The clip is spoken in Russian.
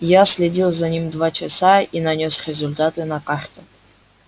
я следил за ним два часа и нанёс результаты на карту